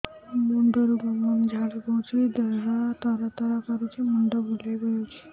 ମୁଣ୍ଡରୁ ଗମ ଗମ ଝାଳ ବହୁଛି ଦିହ ତର ତର କରୁଛି ମୁଣ୍ଡ ବୁଲାଇ ଦେଉଛି